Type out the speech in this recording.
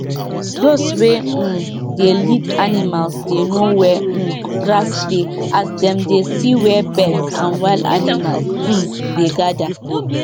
um people wey get animal sign agreement um say peace and fairness go dey when dem dey use the field wey the animal dey chop